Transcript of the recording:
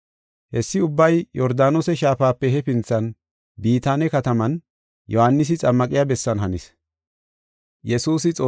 Hessi ubbay Yordaanose Shaafape hefinthan, Bitaane kataman, Yohaanisi xammaqiya bessan hanis.